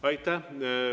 Aitäh!